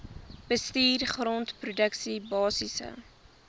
bestuur groenteproduksie basiese